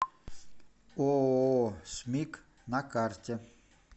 ооо смик на карте